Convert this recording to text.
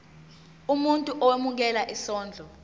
umuntu owemukela isondlo